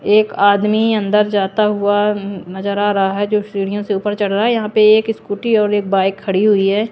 एक आदमी अंदर जाता हुआ नजर आ रहा है जो सीढ़ियों से ऊपर चढ़ रहा है यहां पे एक स्कूटी और एक बाइक खड़ी हुई है ।